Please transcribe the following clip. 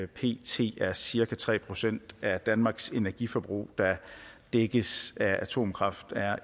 pt er cirka tre procent af danmarks energiforbrug der dækkes af atomkraft er